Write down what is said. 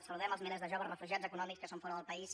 saludem els milers de joves refugiats econòmics que són fora del país